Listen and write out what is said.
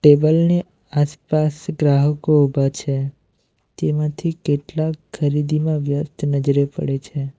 Table ને આસપાસ ગ્રાહકો ઊભા છે તેમાંથી કેટલાક ખરીદીમાં વ્યસ્ત નજરે પડે છે.